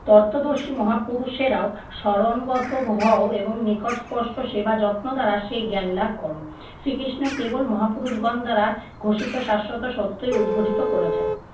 তত্ত্বদর্শী মহাপুরুষেরাও স্মরণগত হও এবং নিকট স্পষ্ট সেবা যত্ন দ্বারা সেই জ্ঞান লাভ করো। শ্রীকৃষ্ণ কেবল মহাপুরুষগণ দ্বারা ঘোষিত শাশ্বত সত্যই উৎঘটিত করেছেন।